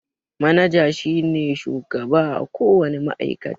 Manaja shi ne shugaba a ko wane ma'aikata.